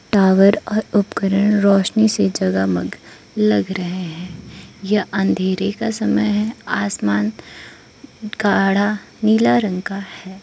Tower और उपकरण रोशनी से जगा मग लग रहे हैं यह अंधेरे का समय आसमान गाढ़ा नीला का है।